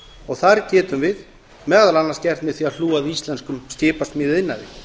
og það getum við meðal annars gert með því að hlúa að íslenskum skipasmíðaiðnaði